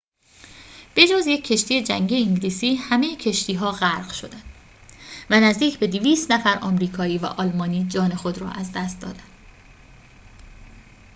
به‌جز یک کشتی جنگی انگلیسی همه کشتی‌ها غرق شدند و نزدیک به ۲۰۰ نفر آمریکایی و آلمانی جان خود را از دست دادند